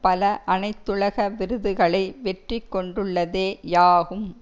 பல அனைத்துலக விருதுகளை வெற்றி கொண்டுள்ளதே யாகும்